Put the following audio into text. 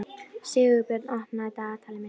Sigurörn, opnaðu dagatalið mitt.